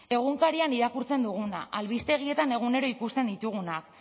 egunkarian irakurtzen dugun albistegietan egunero ikusten ditugunak